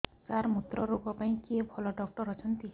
ସାର ମୁତ୍ରରୋଗ ପାଇଁ କିଏ ଭଲ ଡକ୍ଟର ଅଛନ୍ତି